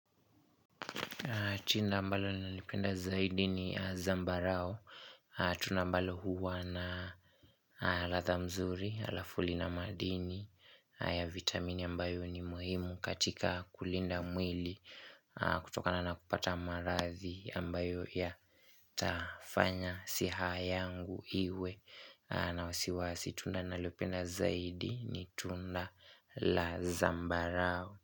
Chinda ambalo nalipenda zaidi ni zambarao. Tunambalo huwa na latha mzuri, alafu lina madini ya vitamini ambayo ni muhimu katika kulinda mwili kutoka na nakupata maradhi ambayo ya tafanya siha yangu iwe na wasiwasi. Tunda nalopenda zaidi ni tunda la zambarao.